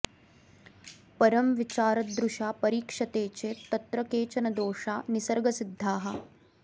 परं विचारदृशा परीक्ष्यते चेत् तत्र केचन दोषा निसर्गसिद्धाः